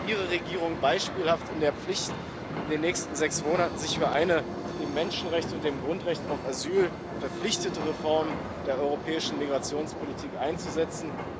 Hier steht Ihre Regierung beispielhaft in der Pflicht, sich in den nächsten sechs Monaten für eine dem Menschenrecht und dem Grundrecht auf Asyl verpflichtete Reform der europäischen Migrationspolitik einzusetzen.